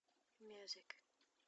мьюзик